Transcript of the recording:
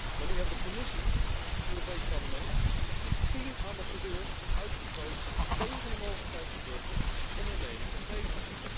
Maar nu hebben de Commissie, het Europees Parlement en tien ambassadeurs zich uitgesproken tegen de mogelijkheid van burgers om hun mening te geven.